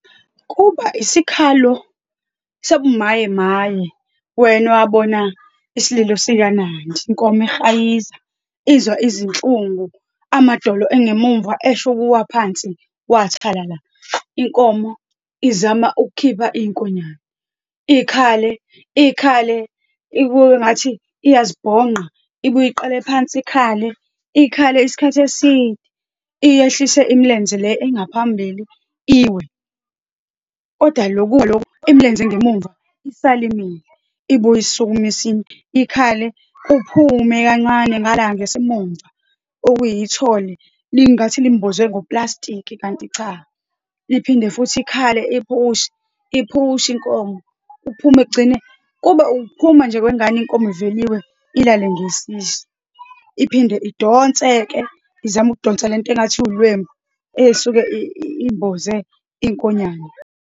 Kuba isikhalo sobumayemaye, wena awabona isililo sikaNandi, inkomo ehayiza, izwa izinhlungu, amadolo engemuva esho ukuwa phansi, wathalala, inkomo izama ukukhipha inkonyane. Ikhale, ikhale ikube engathi iyazibhonqa, ibuye iqalle phansi ikhale, ikhale isikhathi iyehlise imilenze le engaphambili, iwe. Kodwa lokuwa lokhu, imilenze engemumva isale imile, ibuye isukume isima. Ikhale, kuphume kancane ngala ngesimumva okuyithole, lingathi limbozwe ngopulasitiki, kanti cha. Iphinde futhi ikhale, iphushe, iphushe inkomo, kuphume kugcine, kube ukuphuma nje kwengane, inkomo ivele iwe, ilale ngesisu. Iphinde idonse-ke, izame ukudonsa le nto engathi iwulwembu, ey'suke imboze inkonyane.